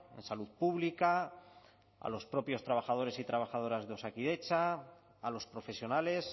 en salud pública a los propios trabajadores y trabajadoras de osakidetza a los profesionales